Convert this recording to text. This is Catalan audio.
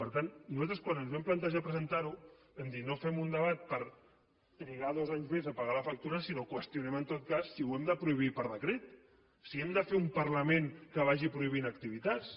per tant nosaltres quan ens vam plantejar presentar ho vam dir no fem un debat per trigar dos anys més a pagar la factura sinó qüestionem en tot cas si ho hem de prohibir per decret si hem de fer un parlament que vagi prohibint activitats